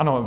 Ano.